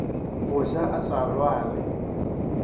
go ja a sa lwale